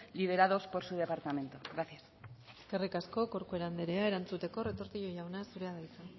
liderados por su departamento gracias eskerrik asko corcuera andrea erantzuteko retortillo jauna zurea da hitza